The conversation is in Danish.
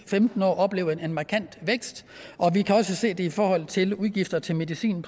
femten år opleve en markant vækst og vi kan også se det i forhold til udgifterne til medicin